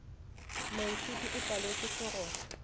moithuti o paletšwe ke go